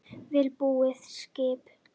Vel búið skip